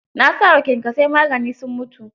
Na sa wa kyankyasai magani sun mutu.